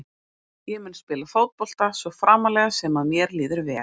Ég mun spila fótbolta svo framarlega sem að mér líður vel.